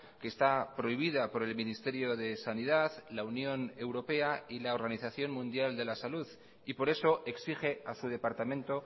que está prohibida por el ministerio de sanidad la unión europea y la organización mundial de la salud y por eso exige a su departamento